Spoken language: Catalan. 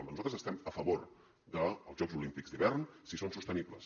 nosaltres estem a favor dels jocs olímpics d’hivern si són sostenibles